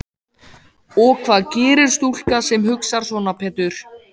Og hvað gerir stúlka sem hugsar svona Pétur?